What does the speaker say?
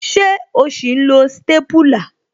Ṣé o sì ń lo stépúlà